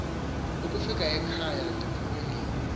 kufika ekhaya ndiphunge